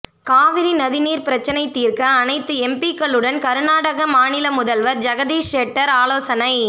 காவிரி நதி நீர் பிரச்னை தீர்க்க அனைத்து எம்பிக்களுடன் கர்நாடக மாநில முதல்வர் ஜெகதீஷ் ஷெட்டர் ஆலோசனை